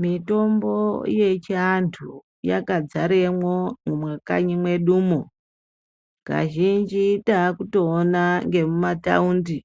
Mitombo yechianthu, yakadzaremwo mumakanyi mwedumwo. Kazhinji, taakutoona ngemumathaundi,